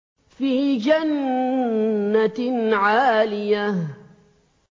فِي جَنَّةٍ عَالِيَةٍ